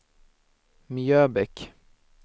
Mjöbäck